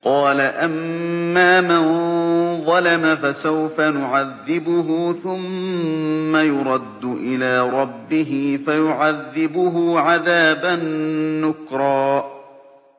قَالَ أَمَّا مَن ظَلَمَ فَسَوْفَ نُعَذِّبُهُ ثُمَّ يُرَدُّ إِلَىٰ رَبِّهِ فَيُعَذِّبُهُ عَذَابًا نُّكْرًا